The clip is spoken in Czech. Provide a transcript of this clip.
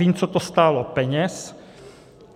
Vím, co to stálo peněz.